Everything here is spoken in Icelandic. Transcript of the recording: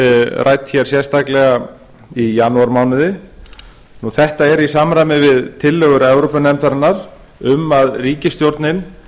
rædd hér sérstaka í janúarmánuði þetta er í samræmi við tillögur evrópunefndarinnar um að ríkisstjórnin